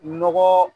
Nɔgɔ